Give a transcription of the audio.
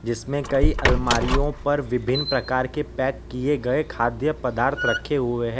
इसमें कई अलमारीयों पर विभिन्न प्रकार के पैक किए गए खाद्य पदार्थ रखे हुए --